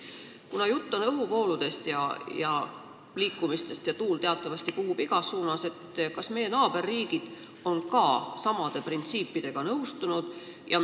Kuna jutt on õhuvooludest, õhu liikumisest – tuul teatavasti puhub igas suunas –, siis tekkis mul küsimus, kas meie naaberriigid ka neid printsiipe austavad.